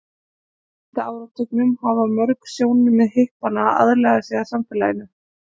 frá sjöunda áratugnum hafa mörg sjónarmið hippanna aðlagað sig að samfélaginu